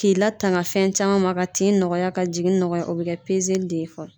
K'i latanga fɛn caman ma ka tin nɔgɔya ka jigin nɔgɔya o bɛ kɛ pezeli de ye fɔlɔ.